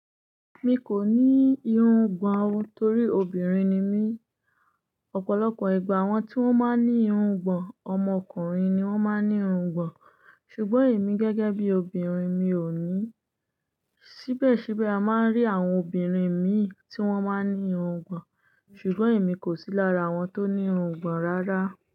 Mi kò ní irungbọ̀n torí obìnrin ni mí. Ọ̀pọ̀lọpọ̀ ìgbà àwọn tí wón máa ń ní irungbọ̀n, ọmọkùnrin ni wón máa ń ní irungbọ̀n. Ṣùgbọ́n èmi gẹ́gẹ́ bí obìnrin mi ò ní. Síbẹ̀síbẹ̀ a máa ń rí àwọn obìnrin mí tí wón máa ń ní irungbọ̀n, ṣùgbọ́n èmi kò sí lára àwọn tó ní irungbọ̀n rárá.